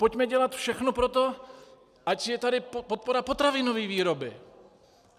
Pojďme dělat všechno pro to, ať je tady podpora potravinové výroby!